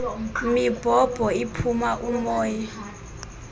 mibhobho iphuma umoya